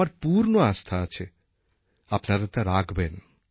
আমার পূর্ণ আস্থা আছে আপনারা তা রাখবেন